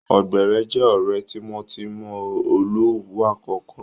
Ògbèré jẹ́ ọ̀rẹ́ tímọ́tímọ́ Olówu àkọ́kọ́